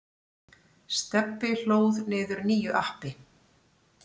Stebbi hlóð niður nýju appi.